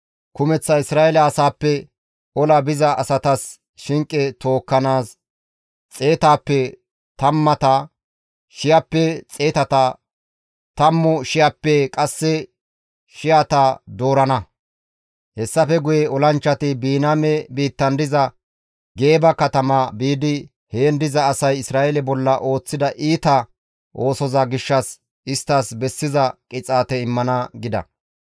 Kumeththa Isra7eele asaappe ola biza asatas shinqe tookkanaas xeetaappe tammata, shiyappe xeetata, tammu shiyappe qasse shiyata doorana; hessafe guye olanchchati Biniyaame biittan diza Gibi7a katama biidi heen diza asay Isra7eele bolla ooththida iita oosoza gishshas isttas bessiza qixaate immana» gida.